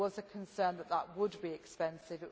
There was a concern that that would be expensive.